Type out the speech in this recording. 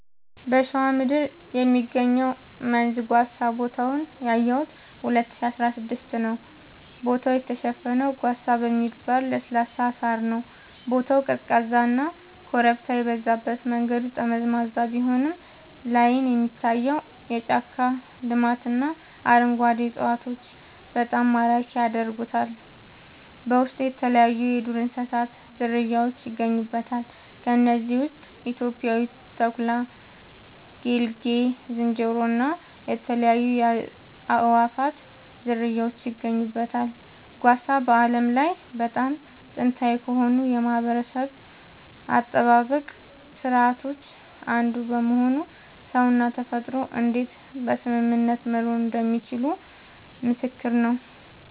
በሸዋ ምድር የሚገኘው መንዝ ጓሳ ቦታውን ያየሁት 2016 ነዉ ቦታው የተሸፈነው ጓሳ በሚባል ለስላሳ ሳር ነዉ ቦታው ቀዝቃዛና ኮረብታ የበዛበት መንገዱ ጠመዝማዛ ቢሆንም ላይን የሚታየው የጫካ ልማትና አረንጓዴ እፅዋቶች በጣም ማራኪ ያደርጉታል በውስጡ የተለያይዩ የዱር እንስሳት ዝርያውች ይገኙበታል ከነዚህም ውስጥ ኢትዮጵያዊው ተኩላ ጌልጌ ዝንጀሮ እና የተለያዩ የአእዋፋት ዝርያወች ይገኙበታል። ጓሳ በዓለም ላይ በጣም ጥንታዊ ከሆኑ የማህበረሰብ አጠባበቅ ስርዓቶች አንዱ በመሆኑ ሰውና ተፈጥሮ እንዴት በስምምነት መኖር እንደሚችሉ ምስክር ነዉ